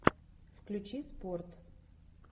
включи спорт